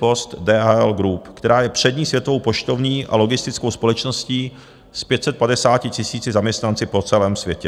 Post DHL Group, která je přední světovou poštovní a logistickou společností s 550 000 zaměstnanci po celém světě.